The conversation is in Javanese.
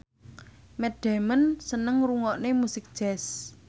Matt Damon seneng ngrungokne musik jazz